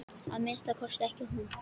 Að minnsta kosti ekki hún.